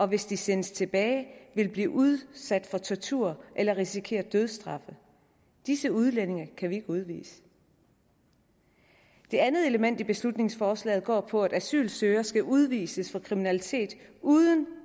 hvis de sendes tilbage vil blive udsat for tortur eller risikerer dødsstraf disse udlændinge kan vi ikke udvise det andet element i beslutningsforslaget går på at asylansøgere skal udvises for kriminalitet uden